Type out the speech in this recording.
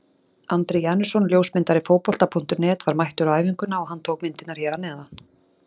Andri Janusson ljósmyndari Fótbolta.net var mættur á æfinguna og hann tók myndirnar hér að neðan.